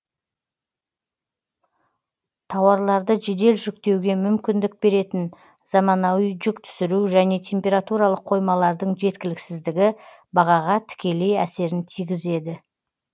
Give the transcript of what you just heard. тауарларды жедел жүктеуге мүмкіндік беретін заманауи жүк түсіру және температуралық қоймалардың жеткіліксіздігі бағаға тікелей әсерін тигізеді